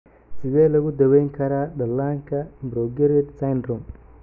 Sidee lagu daweyn karaa dhallaanka progeroid syndrome?